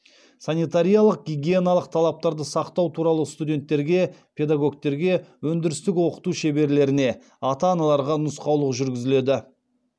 санитариялық гигиеналық талаптарды сақтау туралы студенттерге педагогтерге өндірістік оқыту шеберлеріне ата аналарға нұсқаулық жүргізіледі